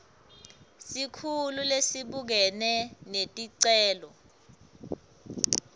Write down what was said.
sikhulu lesibukene neticelo